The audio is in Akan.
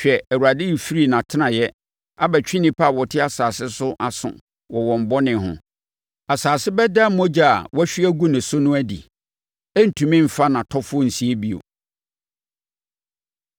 Hwɛ, Awurade refiri nʼatenaeɛ abɛtwe nnipa a wɔte asase so aso wɔ wɔn bɔne ho. Asase bɛda mogya a wɔahwie agu no so adi; ɛrentumi mfa nʼatɔfoɔ nsie bio.